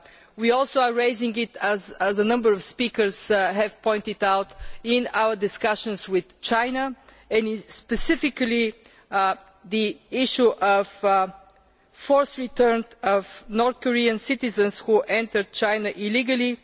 We are also raising it, as a number of speakers have pointed out, in our discussions with China, and specifically the issue of the forced return of North Korean citizens who entered China illegally.